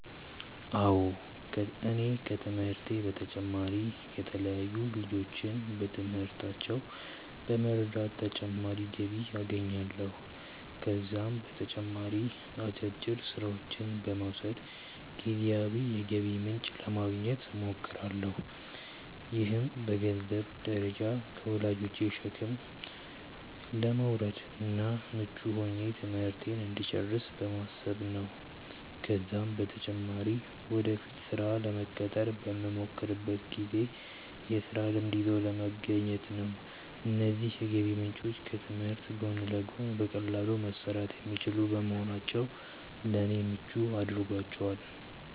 አዎ እኔ ከትምህርቴ በተጨማሪ የተለያዩ ልጆችን በትምህርታቸው በመርዳት ተጨማሪ ገቢ አገኛለሁ። ከዛም በተጨማሪ አጫጭር ስራዎችን በመውሰድ ጊዜያዊ የገቢ ምንጭ ለማግኘት እሞክራለሁ። ይህም በገንዘንብ ደረጃ ከወላጆቼ ሸክም ለመውረድ እና ምቹ ሆኜ ትምህርቴን እንድጨርስ በማሰብ ነው ነው። ከዛም በተጨማሪ ወደፊት ስራ ለመቀጠር በመሞክርበት ጊዜ የስራ ልምድ ይዞ ለመገኘት ነው። እነዚህ የገቢ ምንጮች ከትምህርት ጎን ለጎን በቀላሉ መሰራት የሚችሉ በመሆናቸው ለኔ ምቹ አድርጓቸዋል።